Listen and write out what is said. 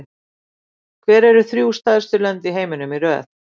Hver eru þrjú stærstu lönd í heiminum í röð?